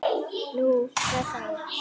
Nú, hvað þá?